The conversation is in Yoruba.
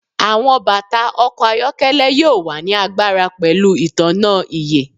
Awọn bata ọkọ ayọkẹlẹ yoo wa ni agbara pẹlu itanna iÿë